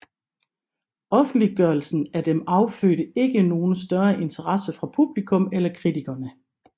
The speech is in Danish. Offentliggørelsen af dem affødte ikke nogen større interesse fra publikum eller kritikerne